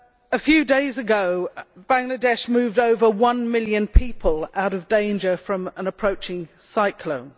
A few days ago, Bangladesh moved over 1 million people out of danger from an approaching cyclone.